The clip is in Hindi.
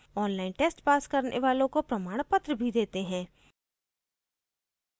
online test pass करने वालों को प्रमाणपत्र भी देते हैं